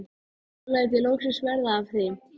Nú læt ég loksins verða af því.